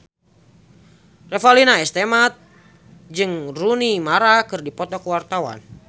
Revalina S. Temat jeung Rooney Mara keur dipoto ku wartawan